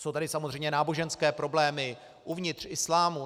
Jsou tady samozřejmě náboženské problémy uvnitř islámu.